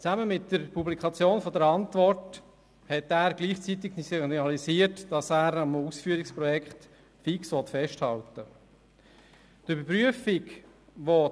Zusammen mit der Publikation der Antwort hat er gleichzeitig signalisiert, dass er am Ausführungsprojekt fix festhalten will.